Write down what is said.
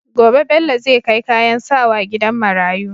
Gobe Bello zai kai kayan sawa gidan marayu